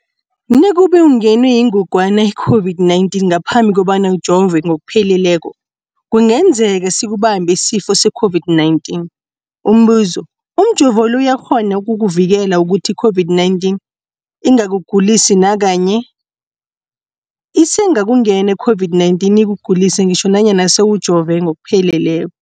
Nakube ungenwe yingogwana i-COVID-19 ngaphambi kobana ujove ngokupheleleko, kungenzeka sikubambe isifo se-COVID-19. Umbuzo, umjovo lo uyakghona ukukuvikela ukuthi i-COVID-19 ingakugulisi nakanye? Isengakungena i-COVID-19 ikugulise ngitjho nanyana sewujove ngokupheleleko.